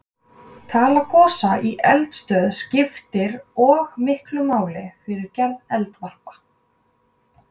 Tala gosa í eldstöð skiptir og miklu máli fyrir gerð eldvarpa.